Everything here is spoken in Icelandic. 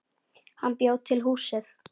Hann bjó til húsið.